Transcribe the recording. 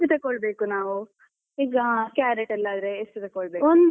ಎಷ್ಟು ತಕೊಳ್ಬೇಕು ನಾವು, ಈಗ ಕ್ಯಾರೆಟ್ ಎಲ್ಲ ಆದ್ರೆ ಎಷ್ಟು ತಕೊಳ್ಬೇಕು.